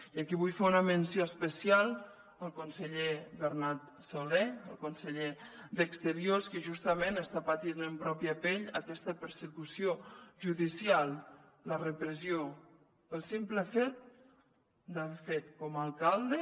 i aquí vull fer una menció especial al conseller bernat solé el conseller d’exteriors que justament està patint en pròpia pell aquesta persecució judicial la repressió pel simple fet d’haver fet com a alcalde